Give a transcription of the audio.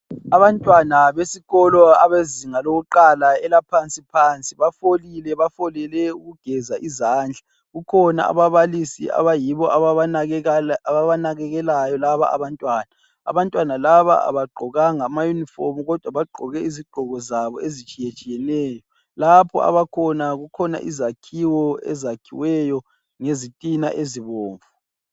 Abantwana besikolo abezinga lokuqala, elaphansi phansi bafolile. Bafolele ukugeza izandla. Kukhona ababalisi abayibo ababanakekelayo laba abantwana. Abantwana laba abagqokanga amayunifomu kodwa bagqoke izigqoko zabo ezitshiyetshiyeneyo. Lapho abakhona kukhona izakhiwo ezakhiweyo ngezitina ezibomvu.